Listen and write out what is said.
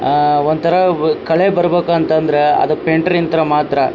ಆಹ್ಹ್ ಒಂತರ ಕಳೆ ಬರ್ಬೇಕು ಅಂತಂದ್ರ ಪೈಂಟರ್ ರಿಂತ ಮಾತ್ರ.